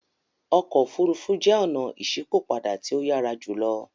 Ọkọ ofurufu jẹ ọna iṣipopada ti o yara julo.